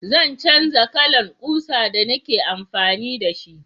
Zan canja kalan ƙusa da ni ke amfani da shi